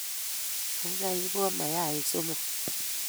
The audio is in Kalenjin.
Kaikai ipwon mayaik somok